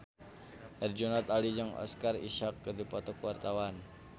Herjunot Ali jeung Oscar Isaac keur dipoto ku wartawan